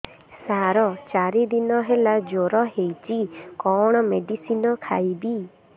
ସାର ଚାରି ଦିନ ହେଲା ଜ୍ଵର ହେଇଚି କଣ ମେଡିସିନ ଖାଇବି